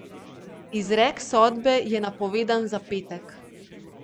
Izrek sodbe je napovedan za petek.